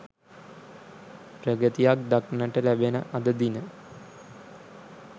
ප්‍රගතියක් දක්නට ලැබෙන අද දින